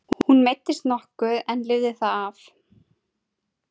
Hún meiddist nokkuð en lifði það af.